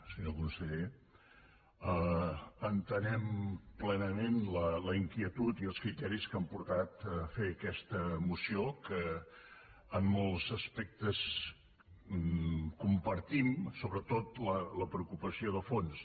senyor conseller entenem plenament la inquietud i els criteris que han portat a fer aquesta moció que en molts aspectes compartim sobretot la preocupació de fons